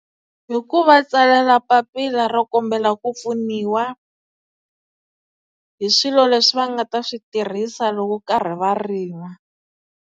Hi ku va tsalela papila ro kombela ku pfuniwa hi swilo leswi va nga ta swi tirhisa loko va karhi va rima.